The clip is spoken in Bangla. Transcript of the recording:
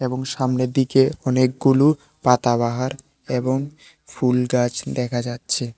এবং সামনের দিকে অনেকগুলু পাতাবাহার এবং ফুল গাছ দেখা যাচ্ছে।